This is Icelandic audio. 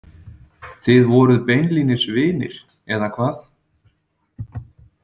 Þið voruð beinlínis vinir, eða hvað?